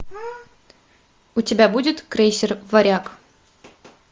у тебя будет крейсер варяг